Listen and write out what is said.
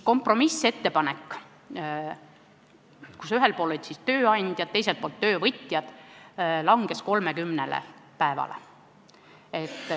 Kompromissettepanekuks, ühel pool olid tööandjad, teisel pool töövõtjad, jäi 30 päeva.